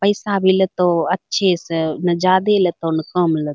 पैसा भी लेतौ अच्छे से ना ज्यादे लेतौ ना कम लेतौ |